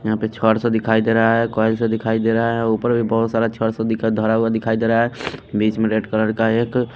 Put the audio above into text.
यहाँ पे छड़ सा दिखाई दे रहा है कॉइल से दिखाई दे रहा है ऊपर भी बहुत सारा छड़ से दिखा धरा हुआ दिखाई दे रहा है बीच में रेड कलर का एक--